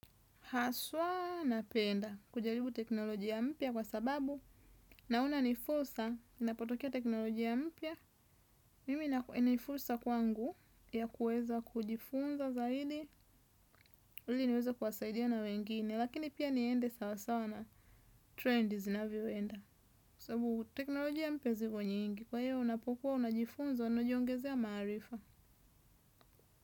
Haswa na penda kujaribu teknolojia mpya kwa sababu naona nifursa ninapotokea teknoloji ya mpya. Mimi na nifursa kwangu ya kueza kujifunza zaidi ili niweza kuwasaidia na wengine lakini pia niende sawasawa na trendi zinavyoenda. Tebu teknologia mpya ziko nyingi kwahivyo unapokuwa unajifunza unajiongezea maarifa.